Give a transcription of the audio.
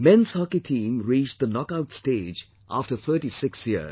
Men's Hockey Team reached knock out stage after 36 years